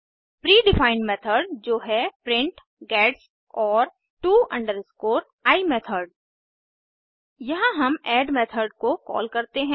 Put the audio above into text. pre defined method जो है print gets और to i मेथड यहाँ हम ऐड मेथड को कॉल करते हैं